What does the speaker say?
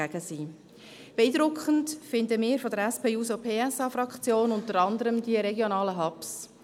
Beeindruckend finden wir von der SP-JUSO-PSA-Fraktion unter anderem die regionalen Hubs.